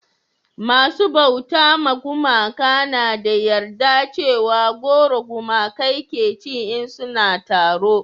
masu bauta ma gumaka na da yarda cewa goro gumakai ke ci in suna taro